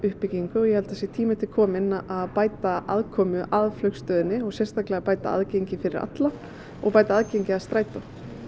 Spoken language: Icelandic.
uppbyggingu ég held að það sé tími til kominn að bæta aðkomu að flugstöðinni og sérstaklega að bæta aðgengi fyrir alla og bæta aðgengi að strætó